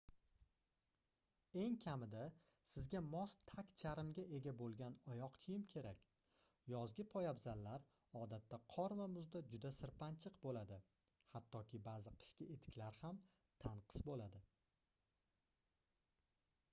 eng kamida sizga mos tagcharmga ega boʻlgan oyoq kiyim kerak yozgi poyabzallar odatda qor va muzda juda sirpanchiq boʻladi hattoki baʼzi qishki etiklar ham tanqis boʻladi